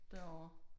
Derovre